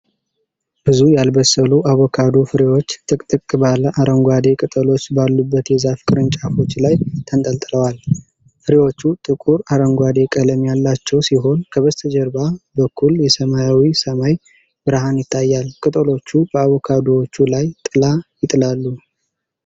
ብዙ ያልበሰሉ አቮካዶ ፍሬዎች ጥቅጥቅ ባለ አረንጓዴ ቅጠሎች ባሉበት የዛፍ ቅርንጫፎች ላይ ተንጠልጥለዋል። ፍሬዎቹ ጥቁር አረንጓዴ ቀለም ያላቸው ሲሆን ከበስተጀርባ በኩል የሰማያዊ ሰማይ ብርሃን ይታያል። ቅጠሎቹ በአቮካዶዎቹ ላይ ጥላ ይጥላሉ።